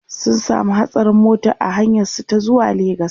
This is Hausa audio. sun samu hatsarin mota a hanyar su ta zuwa legas